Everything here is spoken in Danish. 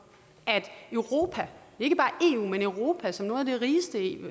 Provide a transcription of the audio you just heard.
at europa ikke bare eu men europa som nogle af de rigeste